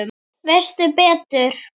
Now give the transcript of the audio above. Veistu betur?